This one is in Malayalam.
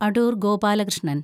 അടൂര്‍ ഗോപാലകൃഷ്ണന്‍